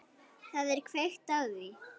Það er kveikt á því.